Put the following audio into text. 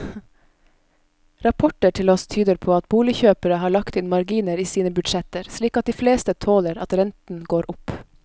Rapporter til oss tyder på at boligkjøpere har lagt inn marginer i sine budsjetter, slik at de fleste tåler at renten går opp.